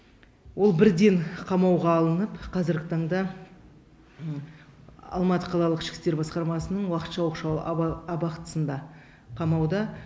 ол бірден қамауға алынып қазіргі таңда алматы қалалық ішкі істер басқармасының уақытша оқшау абақтысында қамауда